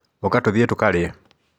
ũka tũthiĩ tũkarĩe.